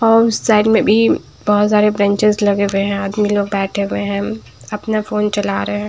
और उस साइड में भी बहुत सारे बेंचस लगे हुए हैं आदमी लोग बैठे हुए हैं अपना फोन चला रहे हैं।